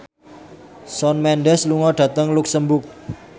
Shawn Mendes lunga dhateng luxemburg